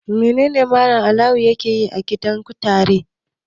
Menene Mallam Awwalu yake yi a gidan kutare?